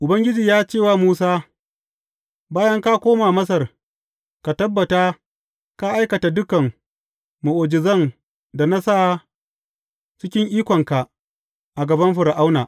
Ubangiji ya ce wa Musa, Bayan ka koma Masar, ka tabbata ka aikata dukan mu’ujizan da na sa cikin ikonka a gaban Fir’auna.